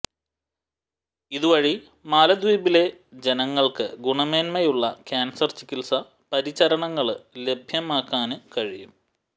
ഇതുവഴി മാലദ്വീപിലെ ജനങ്ങള്ക്ക് ഗുണമേന്മയുള്ള കാന്സര് ചികിത്സാ പരിചരണങ്ങള് ലഭ്യമാക്കാന് കഴിയും